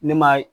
Ne ma